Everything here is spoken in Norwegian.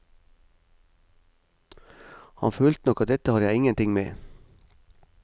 Han følte nok at dette har jeg ingenting med.